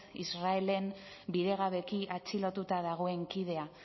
israelen bidegabeki atxilotuta dagoen kidea